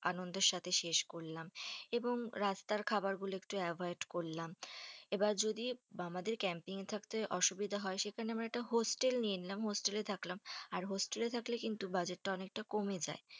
আনন্দের সাথে শেষ করলাম, এবং রাস্তার খাবার গুলো একটু avoid করলাম। এবার যদি আমাদের camping থাকতে অসুবিধা হয়, সেখানে আমরা একটা হোস্টেল নিয়ে নিলাম, হোস্টেলে থাকলাম আর হোস্টেল এ থাকলে কিন্তু budget তা অনেকটা কমে যাই.